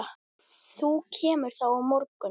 Þú kemur þá á morgun.